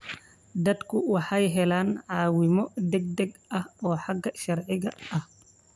Dadku waxay helaan caawimo degdeg ah oo xagga sharciga ah.